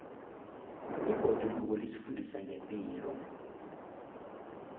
ibhoduluko lisifundisa ngepilo